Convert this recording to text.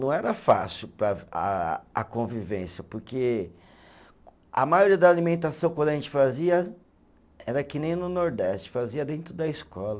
Não era fácil para a, a convivência, porque a maioria da alimentação quando a gente fazia era que nem no Nordeste, fazia dentro da escola.